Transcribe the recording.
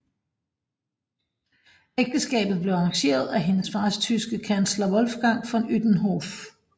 Ægteskabet blev arrangeret af hendes fars tyske kansler Wolfgang von Utenhof